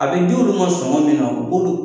A bɛ d'olu ma sɔngɔ min na boku